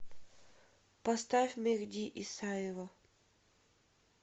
поставь мехди исаева